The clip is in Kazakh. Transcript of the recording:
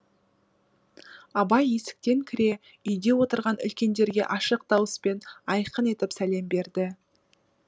абай есіктен кіре үйде отырған үлкендерге ашық дауыспен айқын етіп сәлем берді